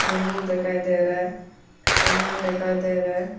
नींबू दिखाई दे रहा है ओनियन दिखाई दे रहा है।